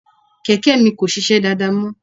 Kẹ̀kẹ́ mi kò sisẹ́ dáadáa mọ́.